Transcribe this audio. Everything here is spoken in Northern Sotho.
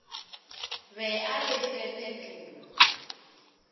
be a re fe phetolo